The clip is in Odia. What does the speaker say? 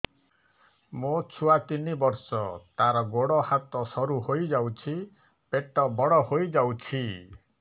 ମୋ ଛୁଆ ତିନି ବର୍ଷ ତାର ଗୋଡ ହାତ ସରୁ ହୋଇଯାଉଛି ପେଟ ବଡ ହୋଇ ଯାଉଛି